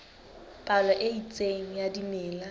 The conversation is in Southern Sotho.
palo e itseng ya dimela